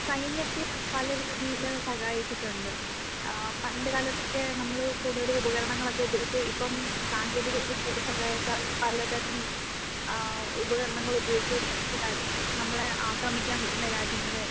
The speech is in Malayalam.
സൈനികത്തിന് പല രീതിയില് സഹായിച്ചിട്ടുണ്ട്. ഏഹ് പണ്ട് കാലത്തൊക്കെ നമ്മള് കൂടുതൽ ഉപകരണങ്ങൾ ഒക്കെ ഉപയോഗിച്ചു. ഇപ്പൊ സാങ്കേന്തിക വിദ്യയുടെ സഹായത്താൽ പല തരം ഏഹ് ഉപകരണങ്ങൾ ഉപയോഗിക്കാൻ സജ്ജരായി. നമ്മളെ ആക്രമിക്കാൻ വരുന്ന രാജ്യങ്ങളെ